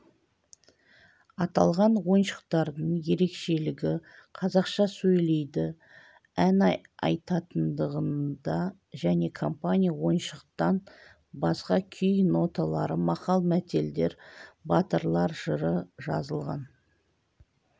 аталған ойыншықтардың ерекшелігі қазақша сөйлейді ән айтатындығында және компания ойыншықтан басқа күй ноталары мақал-мәтелдер батырлар жыры жазылған